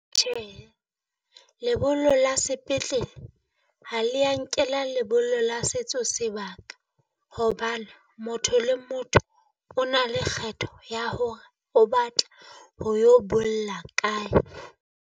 Tjhehe, lebollo la sepetlele ha le ya nkela lebollo la setso sebaka, hobane motho le motho o na le kgetho ya hore o batla ho yo bolla kae.